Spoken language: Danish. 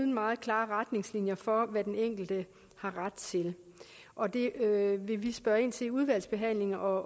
meget klare retningslinjer for hvad den enkelte har ret til og det vil vi spørge ind til i udvalgsbehandlingen og